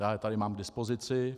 Já je tady mám k dispozici.